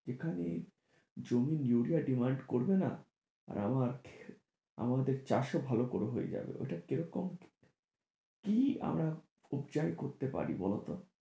যেখানে জমি ইউরিয়ার demand করবে না আর আমার আমাদের চাষ ও ভালো করে হয়ে যাবে ওটা কিরকম কি আমরা করতে পারি বলো তো?